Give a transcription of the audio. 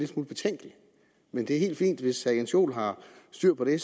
smule betænkelig men det er helt fint hvis herre jens joel har styr på det